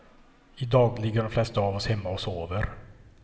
I dag ligger de flesta av oss hemma och sover.